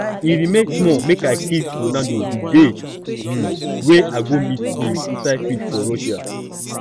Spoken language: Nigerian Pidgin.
e remain small make i kiss ronaldo the dey um wey i go meet him inside field for russia